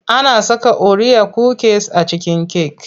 Ana saka oriya kukis a cikin cake.